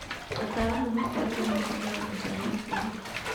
Ataaramu makerĩrwo mawĩra nja ya bũrũri